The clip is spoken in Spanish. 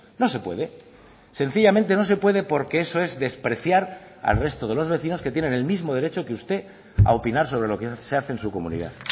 no se puede sencillamente no se puede porque eso es despreciar al resto de los vecinos que tienen el mismo derecho que usted a opinar sobre lo que se hace en su comunidad